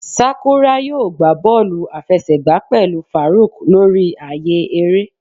sakura yóò gbá bọọlu afẹsẹgba pẹlú faruq lori aaye ere